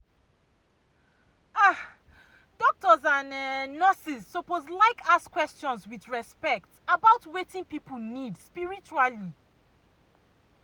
ah doctors and um nurses suppose like ask questions with respect about wetin people need spiritually. um